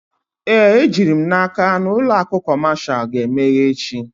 Ee, ejiri m n'aka na ụlọ akụ kọmashal ga-emeghe echi.